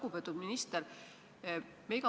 Lugupeetud minister!